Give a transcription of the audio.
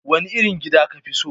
Wane irin gida ka fi so?